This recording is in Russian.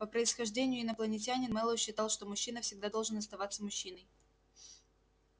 по происхождению инопланетянин мэллоу считал что мужчина всегда должен оставаться мужчиной